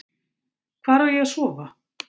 Hvar á ég að sofa?